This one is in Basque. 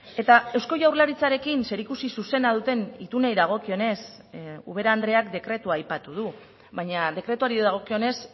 eta eusko jaurlaritzarekin zerikusi zuzena duten itunei dagokionez ubera andreak dekretua aipatu du baina dekretuari dagokionez